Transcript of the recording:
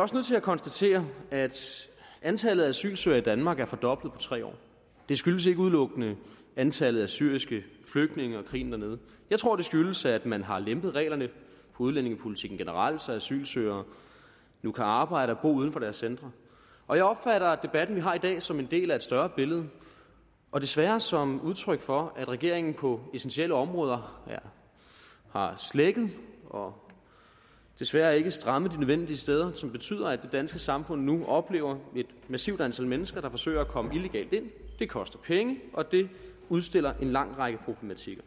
også nødt til at konstatere at antallet af asylsøgere i danmark er fordoblet på tre år det skyldes ikke udelukkende antallet af syriske flygtninge og krigen dernede jeg tror det skyldes at man har lempet reglerne på udlændingepolitikken generelt så asylsøgerne nu kan arbejde og bo uden for deres centre og jeg opfatter debatten vi har i dag som en del af et større billede og desværre som udtryk for at regeringen på essentielle områder har slækket og desværre ikke strammet de nødvendige steder hvilket betyder at det danske samfund nu oplever et massivt antal mennesker der forsøger at komme illegalt ind det koster penge og det udstiller en lang række problematikker